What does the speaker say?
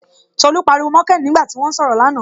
Tolú pariwo mọ Kéènì nígbà tí wọ́n ń sọ̀rọ̀ là na